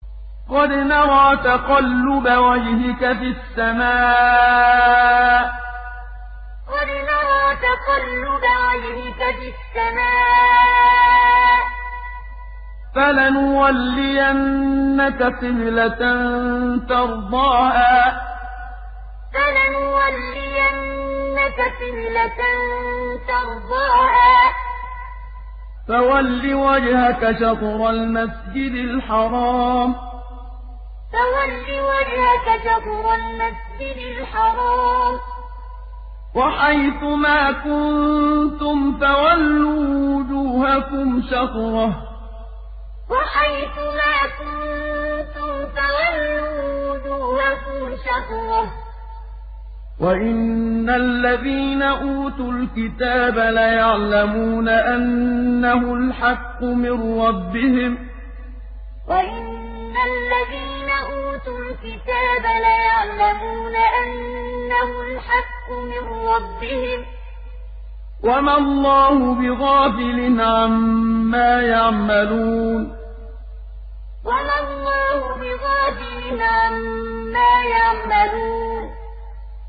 قَدْ نَرَىٰ تَقَلُّبَ وَجْهِكَ فِي السَّمَاءِ ۖ فَلَنُوَلِّيَنَّكَ قِبْلَةً تَرْضَاهَا ۚ فَوَلِّ وَجْهَكَ شَطْرَ الْمَسْجِدِ الْحَرَامِ ۚ وَحَيْثُ مَا كُنتُمْ فَوَلُّوا وُجُوهَكُمْ شَطْرَهُ ۗ وَإِنَّ الَّذِينَ أُوتُوا الْكِتَابَ لَيَعْلَمُونَ أَنَّهُ الْحَقُّ مِن رَّبِّهِمْ ۗ وَمَا اللَّهُ بِغَافِلٍ عَمَّا يَعْمَلُونَ قَدْ نَرَىٰ تَقَلُّبَ وَجْهِكَ فِي السَّمَاءِ ۖ فَلَنُوَلِّيَنَّكَ قِبْلَةً تَرْضَاهَا ۚ فَوَلِّ وَجْهَكَ شَطْرَ الْمَسْجِدِ الْحَرَامِ ۚ وَحَيْثُ مَا كُنتُمْ فَوَلُّوا وُجُوهَكُمْ شَطْرَهُ ۗ وَإِنَّ الَّذِينَ أُوتُوا الْكِتَابَ لَيَعْلَمُونَ أَنَّهُ الْحَقُّ مِن رَّبِّهِمْ ۗ وَمَا اللَّهُ بِغَافِلٍ عَمَّا يَعْمَلُونَ